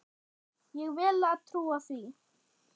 Ég vel að trúa því.